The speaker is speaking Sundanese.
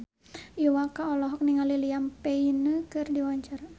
Iwa K olohok ningali Liam Payne keur diwawancara